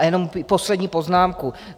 A jen poslední poznámka.